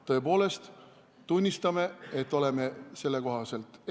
Tõepoolest tunnistame, et oleme eksinud.